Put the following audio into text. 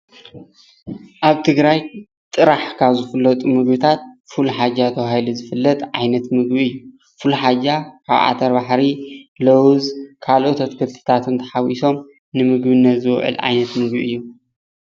ኣብ ትግራይ ጥራሕ ካብ ዝፍለጡ ምግብታት ፉል ሓጃ ተባሂሉ ዝፍለጥ ዓይነት ምግቢ እዩ። ፉል ሓጃ ካብ ዓተርባሕሪ፣ ለውዝ ካሎኦት ኣትክልቲታትን ተሓዊሶም ንምግብነት ዝውዕል ዓይነት ምግቢ እዩ።